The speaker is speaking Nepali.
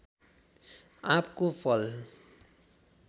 आँपको फल